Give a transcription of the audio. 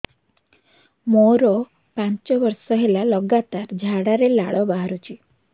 ମୋରୋ ପାଞ୍ଚ ବର୍ଷ ହେଲା ଲଗାତାର ଝାଡ଼ାରେ ଲାଳ ବାହାରୁଚି